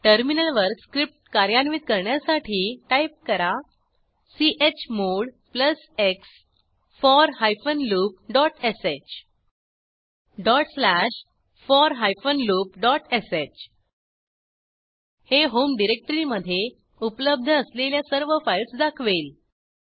टर्मिनलवर स्क्रिप्ट कार्यान्वित करण्यासाठी टाईप करा चमोड x for loopश for loopsh हे होम डिरेक्टरीमधे उपलब्ध असलेल्या सर्व फाईल्स दाखवेल